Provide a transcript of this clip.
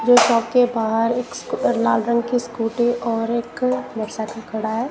दो ट्रक के बाहर एक लाल रंग की स्कूटी और एक मोटरसाइकिल खड़ा है।